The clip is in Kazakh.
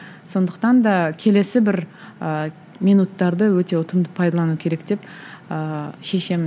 сондықтан да келесі бір ыыы минуттарды өте ұтымды пайдалану керек деп ыыы шешемін